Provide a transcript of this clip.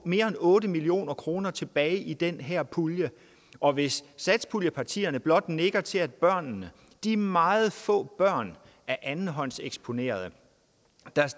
mere end otte million kroner tilbage i den her pulje og hvis satspuljepartierne blot nikker til at børnene de meget få børn af andenhåndseksponerede der